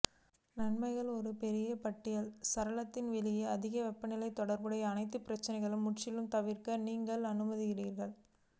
நன்மைகள் ஒரு பெரிய பட்டியல் சாளரத்தில் வெளியே அதிக வெப்பநிலை தொடர்புடைய அனைத்து பிரச்சினைகள் முற்றிலும் தவிர்க்க நீங்கள் அனுமதிக்கிறது